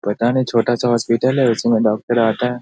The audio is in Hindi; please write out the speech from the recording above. पता नहीं छोटा सा हॉस्पिटल है उसमें डॉक्‍टर आता है।